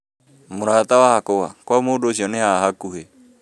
Mũrata wakwa, kwa mũndũ ũcio nĩ haha hakuhĩ